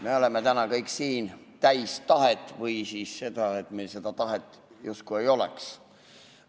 Me oleme täna kõik siin täis tahet või siis on nii, et meil seda tahet justkui ei oleks.